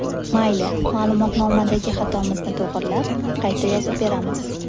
Mayli, ma’lumotnomadagi xatomizni to‘g‘rilab, qayta yozib beramiz.